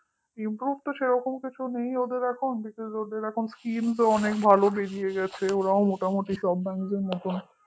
improve তো সেরকম কিছু নেই ওদের এখন ওদের এখন scheme তো অনেক ভালো বেরিয়ে গেছে ওরাও মোটামুটি সব bank র মতন